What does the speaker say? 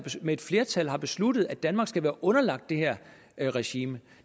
med et flertal har besluttet at danmark skal være underlagt det her regime